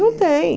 Não tem.